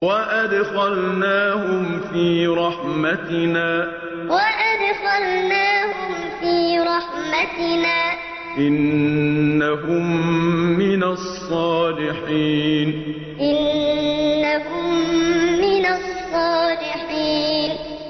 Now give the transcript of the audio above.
وَأَدْخَلْنَاهُمْ فِي رَحْمَتِنَا ۖ إِنَّهُم مِّنَ الصَّالِحِينَ وَأَدْخَلْنَاهُمْ فِي رَحْمَتِنَا ۖ إِنَّهُم مِّنَ الصَّالِحِينَ